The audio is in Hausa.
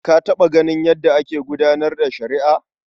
Ka taɓa ganin yadda ake gudanar da shari'a?